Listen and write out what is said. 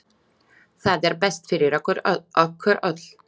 Það er best fyrir okkur öll.